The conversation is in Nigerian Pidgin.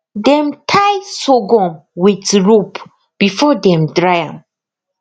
dem tie sorghum with rope before dem dry am